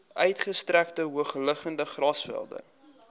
uitgestrekte hoogliggende grasvelde